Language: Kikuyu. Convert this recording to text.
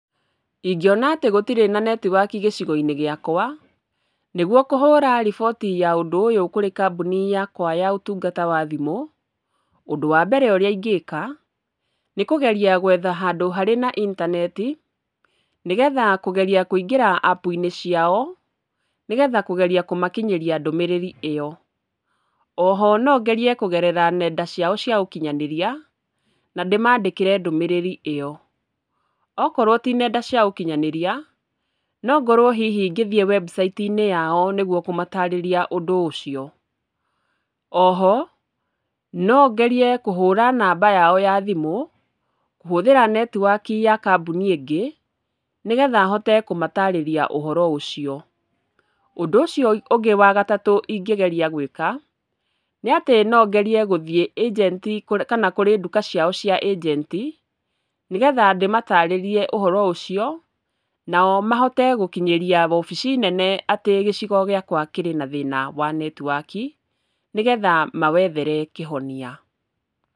Ingĩona atĩ gũtirĩ na netiwaki gĩcigo-inĩ gĩakwa, nĩguo kũhũra riboti ya ũndũ ũyũ kurĩ kambuni yakwa ya ũtungata wa thimũ, ũndũ wa mbere ũrĩa ingĩka nĩ kũgeria gwetha handũ harĩ na intaneti, ni getha kũgeria kũingĩra apu-inĩ ciao nĩ getha kũgeria kũmakinyĩria ndũmĩrĩri ĩyo. Oho nongerie kũgerera ng'enda ciao cia ũkinyanĩria na ndĩmandĩkĩre ndũmĩrĩri ĩyo. Okorwo ti ng'enda cia ũkinyanĩria, no ngorwo hihi ngĩthiĩ website inĩ yao nĩguo kũmatarĩria ũndũ ũcio. Oho, no ngerie kũhũra namba yao ya thimũ kũhũthĩra netiwaki ya kambuni ĩngĩ nĩ getha hote kũmatarĩria ũhoro ũcio. Ũndũ ũcio ũngĩ wa gatatu ingĩgeria gwĩka nĩ atĩ no ngerie gũthiĩ kũrĩ nduka ciao cia ĩjenti, nĩ getha ndĩmatarĩrie ũhoro ũcio nao mahote gũkinyĩria wobici nene atĩ gĩcigo gĩakwa kĩrĩ na thĩna wa netiwaki nĩ getha mawethere kũhonia.